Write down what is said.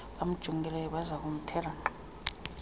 bamjongileyo bazakumthela nkqa